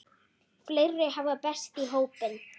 Fleiri hafa bæst í hópinn.